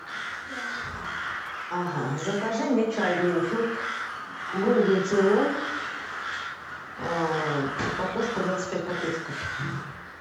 ага закажи мне чай гринфилд голден цейлон упаковку двадцать пять пакетиков